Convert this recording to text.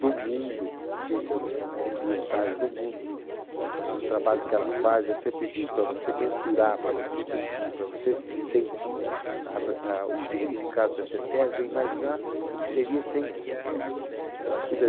do mundo, agências ambientais do mundo, eh, o trabalho que ela faz, eu sempre digo, para você mensurar, para você medir, para você sentir a re a o significado da CETESBI é imaginar o que seria sem a CETESBI. Ela cuida